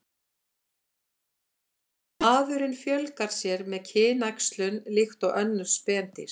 Maðurinn fjölgar sér með kynæxlun líkt og önnur spendýr.